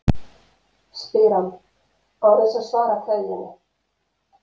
spyr hann, án þess að svara kveðjunni.